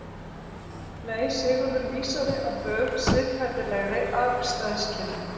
Nei, Sigurður vísaði á bug siðferðilegri afstæðiskenningu.